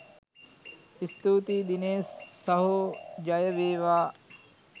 ස්තුතියි දිනේෂ් සහෝ ජය වේවා!